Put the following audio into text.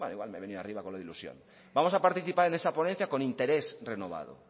bueno igual me he venido arriba con lo de ilusión vamos a participar en esa ponencia con interés renovado